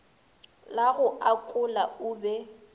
la go akola o be